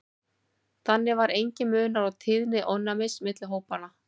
þannig var enginn munur á tíðni ofnæmis milli hópanna